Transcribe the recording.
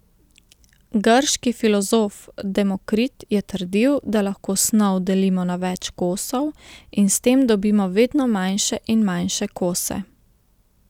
Grški filozof Demokrit je trdil, da lahko snov delimo na več kosov in s tem dobimo vedno manjše in manjše kose.